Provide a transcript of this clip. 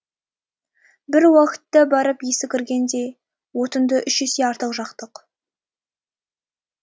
бір уақытта барып есі кіргендей отынды үш есе артық жақтық